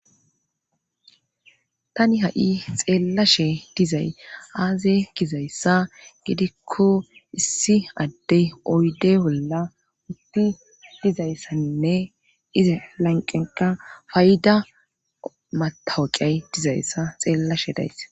tani ha'i xeellashe dizay aaze gizayssa gidikko issi addey oyde bolla utti dizayssaninne ize lanqenka fayida matawaqay dizayssa xeellashe dayss